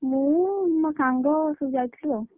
ମୁଁ ମୋ ସାଙ୍ଗ ସବୁ ଯାଇଥିଲୁ, ଆଉ।